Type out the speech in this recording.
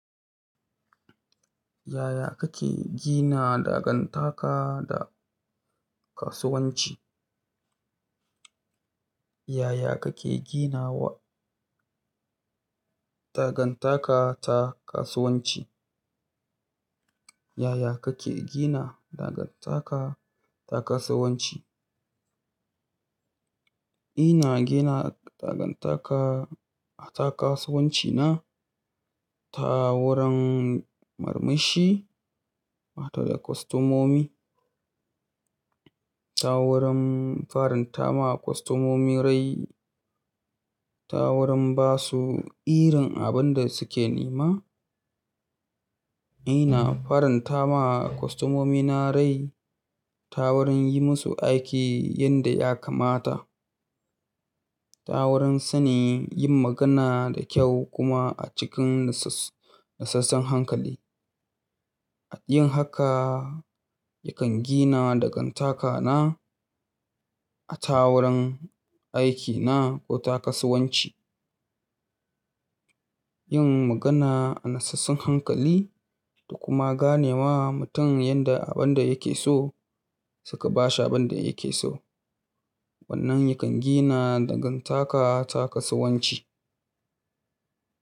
Yaya kake gina dagantaka da kasuwanci? Yaya kake ginawa dagantaka ta kasuwanci? Yaya kake gina dagantaka ta kasuwanci? Ina gina dagantaka ta kasuwanci na ta wurin murmushi mata da kwastomomi, ta wurin farin tama kwastomomi rai, ta wurin ba su irin abin da suke nema. Ina farin tama kwastomomi na rai ta wurin yi musu aiki yanda ya kamata, ta wurin sani yin magana da kyau kuma a cikin nasasson hankali. Yin haka yakan gina dagantaka na a ta wurin aikina ko ta kasuwanci. Yin magana a nasassun hankali da kuma gane wa mutum yanda abin da yake so suka bashi abin da yake so. Wannan yakan gina dagantaka ta kasuwanci.